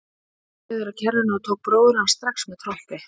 Hún beygði sig niður að kerrunni og tók bróður hans strax með trompi.